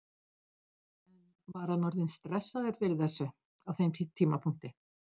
En var hann orðinn stressaður fyrir þessu á þeim tímapunkti?